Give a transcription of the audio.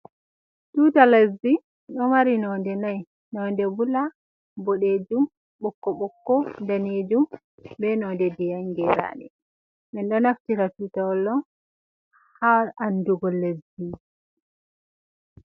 Tuta lezdi, ɗo mari node nai. Nonde bula, boɗeejum, ɓokko-ɓokko, daneejum, be nonde ndiyam geraɗe. Men ɗo naftira tutawal ɗo ha andugo lezdi.